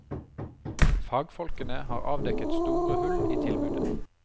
Fagfolkene har avdekket store hull i tilbudet.